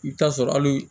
I bɛ taa sɔrɔ hali